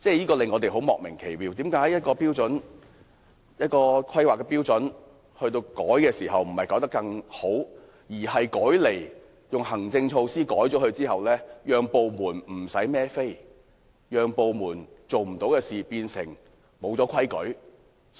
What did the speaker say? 我們感到莫名其妙的是，為何修改一項規劃標準，不是改得更好，而是用行政措施更改後，部門便不用負責，因而不會出錯？